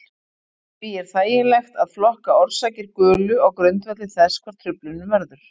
Því er þægilegt að flokka orsakir gulu á grundvelli þess hvar truflunin verður.